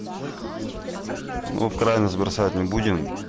ну в крайность бросать не будем